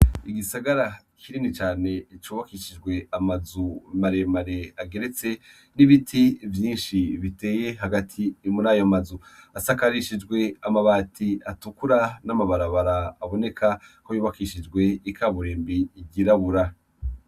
Igisagara rini cane cubakishijwe amazu mare mare ageretse n’ibiti vyinshi biteye hagati yo muri ayo mazu. Asakarishijwe amabati atukura n’amabarabara aboneka ko yubakishijwe ikaburimbo itirabura.